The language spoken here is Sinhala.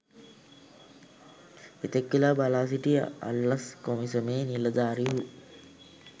එතෙක් වේලා බලා සිටි අල්ලස් කොමිසමේ නිලධාරිහු